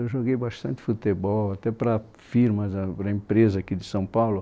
Eu joguei bastante futebol, até para firmas ãhn, para empresas aqui de São Paulo.